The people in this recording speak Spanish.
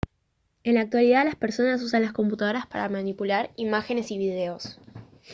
en la actualidad las personas usan las computadoras para manipular imágenes y videos